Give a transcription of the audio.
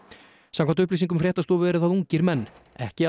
samkvæmt upplýsingum fréttastofu eru það ungir menn ekki